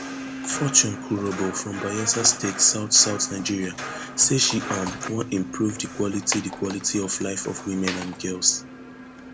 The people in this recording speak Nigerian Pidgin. um fortune kurobo from bayelsa state southsouth nigeria say she um wan improve di quality di quality of life of women and girls